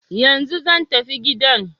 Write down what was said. Yanzu zan tafi gidan.